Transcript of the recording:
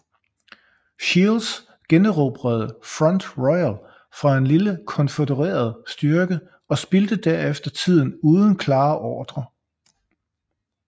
Shields generobrede Front Royal fra en lille konfødereret styrke og spildte derefter tiden uden klare ordrer